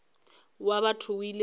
wa batho o ile a